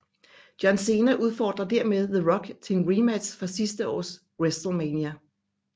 John Cena udfordrer dermed The Rock til en rematch fra sidste års WrestleMania